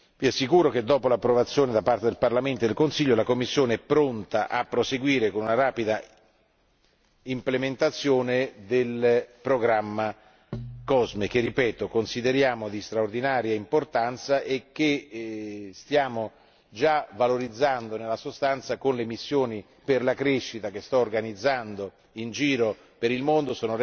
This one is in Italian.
Vi assicuro che dopo l'approvazione da parte del Parlamento e del Consiglio, la Commissione è pronta a proseguire con una rapida implementazione del programma COSME che ripeto consideriamo di straordinaria importanza e che stiamo già valorizzando nella sostanza con le missioni per la crescita che sto organizzando in giro per il mondo.